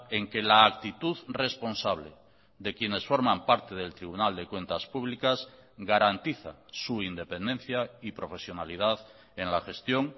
en que la actitud responsable de quienes forman parte del tribunal de cuentas públicas garantiza su independencia y profesionalidad en la gestión